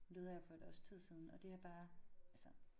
Hun døde her for 1 års tid siden og det er bare altså